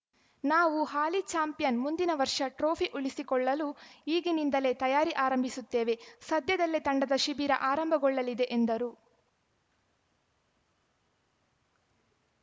ನಾವು ಹಾಲಿ ಚಾಂಪಿಯನ್‌ ಮುಂದಿನ ವರ್ಷ ಟ್ರೋಫಿ ಉಳಿಸಿಕೊಳ್ಳಲು ಈಗಿನಿಂದಲೇ ತಯಾರಿ ಆರಂಭಿಸುತ್ತೇವೆ ಸದ್ಯದಲ್ಲೇ ತಂಡದ ಶಿಬಿರ ಆರಂಭಗೊಳ್ಳಲಿದೆ ಎಂದರು